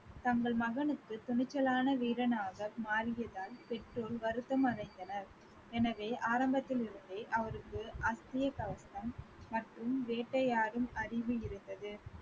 தங்கள் மகனுக்கு துணிச்சலான வீரனாக மாறியதால் பெற்றோர் வருத்தம் அடைந்தனர். எனவே ஆரம்பத்தில் இருந்தே அவருக்கு அட்சய கவசம் மற்றும் வேட்டையாடும் அறிவு இருந்தது